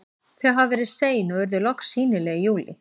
Þau hafa verið sein og urðu loks sýnileg í júlí.